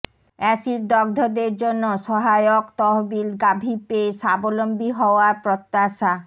এসিডদগ্ধদের জন্য সহায়ক তহবিল গাভি পেয়ে স্বাবলম্বী হওয়ার প্রত্যাশা